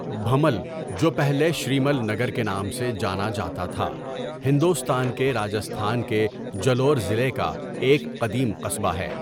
بھنمل، جو پہلے شریمل نگر کے نام سے جانا جاتا تھا، ہندوستان کے راجستھان کے جلور ضلع کا ایک قدیم قصبہ ہے۔